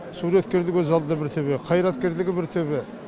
суреткерлігі өз алдына бір төбе қайраткерлігі бір төбе